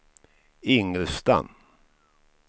Ingelstad